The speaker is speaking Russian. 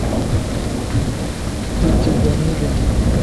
пете данилину